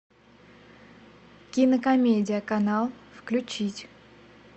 кинокомедия канал включить